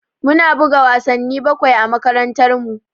Mu na buga wasanni bakwai a makarantar mu